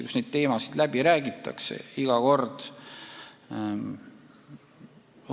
Need teemad räägitakse iga kord läbi.